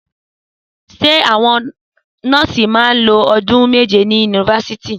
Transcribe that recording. Sẹ àwón nọọsi mà ń ló òdún mẹjẹ ní unifásitì?